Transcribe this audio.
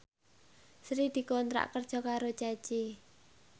Sri dikontrak kerja karo Ceci